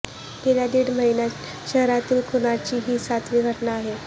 गेल्या दीड महिन्यांत शहरातील खूनाची ही सातवी घटना आहे